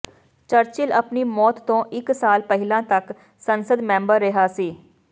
Churchill ਆਪਣੀ ਮੌਤ ਤੋਂ ਇੱਕ ਸਾਲ ਪਹਿਲਾਂ ਤੱਕ ਸੰਸਦ ਮੈਂਬਰ ਰਿਹਾ ਸੀ